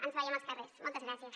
ens veiem als carrers moltes gràcies